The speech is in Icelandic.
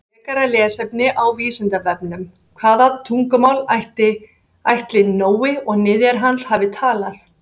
Frekara lesefni á Vísindavefnum: Hvaða tungumál ætli Nói og niðjar hans hafi talað?